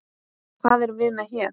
Hvað erum við með hér?